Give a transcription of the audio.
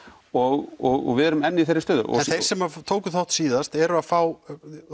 og við erum enn í þeirri stöðu þeir sem tóku þátt síðast eru að fá